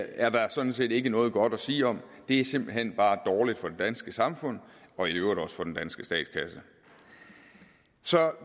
er der sådan set ikke noget godt at sige om det er simpelt hen bare dårligt for det danske samfund og i øvrigt også for den danske statskasse så